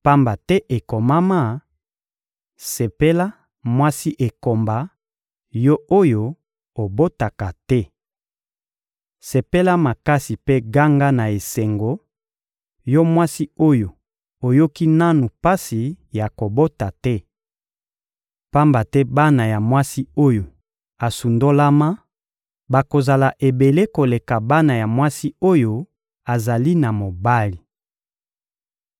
pamba te ekomama: «Sepela, mwasi ekomba, yo oyo obotaka te! Sepela makasi mpe ganga na esengo, yo mwasi oyo oyoki nanu pasi ya kobota te! Pamba te bana ya mwasi oyo asundolama bakozala ebele koleka bana ya mwasi oyo azali na mobali.»